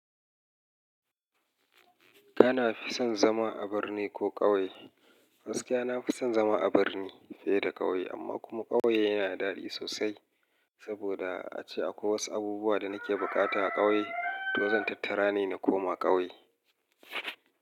Kana fi son zama a birni ko ƙauye? Gaskiya na fi son zama a birni fiye da ƙauye, amma kuma ƙauye yana da daɗi sosai. Saboda ace akwai wasu abubuwa da nake buƙata a ƙauye, to zan tattara ne na koma ƙauye.